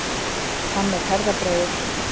Hann er herðabreiður.